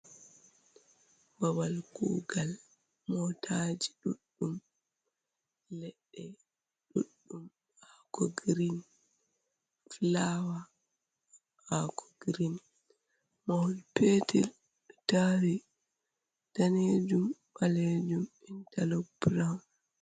babal kugal motaji ɗuɗɗum, leɗɗe ɗuɗɗum hako green, flawa hako green, mahol petel tari danejum balejum intalo brawn.